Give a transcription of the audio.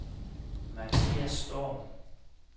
Mathias Storm